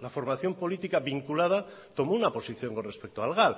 la formación política vinculada tomó una posición con respecto al gal